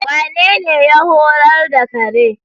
Wanene ya horar da kare?